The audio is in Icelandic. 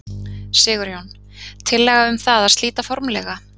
Sigurjón: Tillaga um það að slíta formlega?